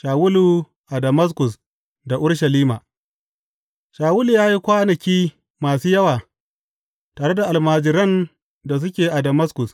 Shawulu a Damaskus da Urushalima Shawulu ya yi kwanaki masu yawa tare da almajiran da suke a Damaskus.